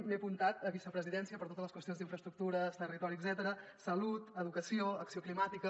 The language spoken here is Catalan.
m’he apuntat a vicepresidència per totes les qüestions d’infraestructures territori etcètera salut educació acció climàtica